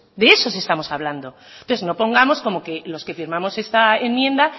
de esos estamos hablando entonces no pongamos como que los que firmamos esta enmienda